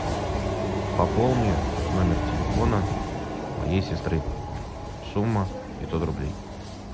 пополни номер телефона моей сестры сумма пятьсот рублей